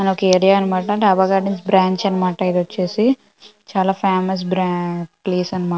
అది ఒక ఏరియా అని మాట డాబా గార్డెన్స్ బ్రాంచ్ అని మాట ఇదోచేసి చాలా ఫేమస్ బ్రాంచ్ .